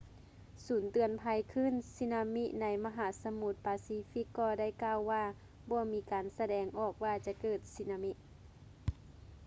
ສູນເຕືອນໄພຄື້ນສຸນາມິໃນມະຫາສະໝຸດປາຊີຟິກກໍໄດ້ກ່າວວ່າບໍ່ມີການສະແດງອອກວ່າຈະເກີດສຸນາມິ